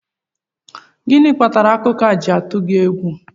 Gịnị kpatara akụkọ a ji tụọ gị egwu?